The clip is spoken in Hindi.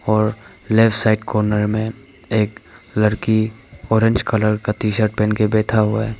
और लेफ्ट साइड कॉर्नर में एक लड़की ऑरेंज कलर का टी शर्ट पहन के बैठा हुआ है।